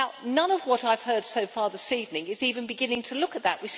None of what I have heard so far this evening is even beginning to look at that.